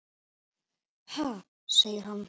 Ha? segir hann.